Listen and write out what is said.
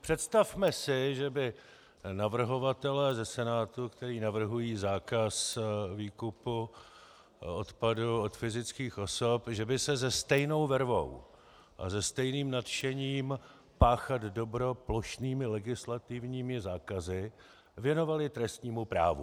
Představme si, že by navrhovatelé ze Senátu, kteří navrhují zákaz výkupu odpadu od fyzických osob, že by se se stejnou vervou a se stejným nadšením páchat dobro plošnými legislativními zákazy věnovali trestnímu právu.